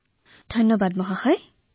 অশেষ ধন্যবাদ মহোদয়